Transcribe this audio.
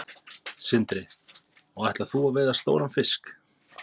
Sindri: Og ætlar þú að veiða stóran fisk?